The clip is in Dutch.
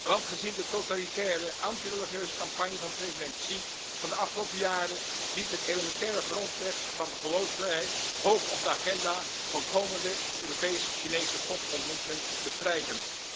Want gezien de totalitaire antireligieuze campagne van president Xi van de afgelopen jaren dient het elementaire grondrecht van de geloofsvrijheid hoog op de agenda van komende Europees Chinese topontmoetingen te prijken.